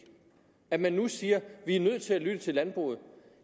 at man nu siger at er nødt til at lytte til landbruget